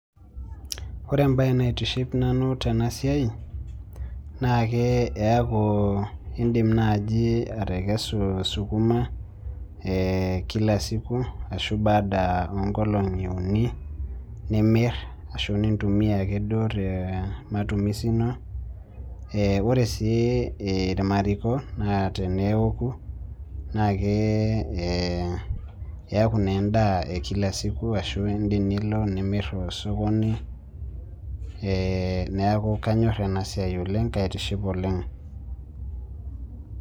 Ore embaye naitiship nanu tena siai naa ke eeku iindim naaji atekesu sukuma ee kila siku ashu baada oonkolong'i uni nimirr ashu nintumia ake duo tematumisi ino eeh, ore sii irmariko naa teneoku naa keeku naa endaa e kila siku ashu iindim nilo amirr tesokoni ee neeku kanyorr ena siai oleng', kaitiship oleng'.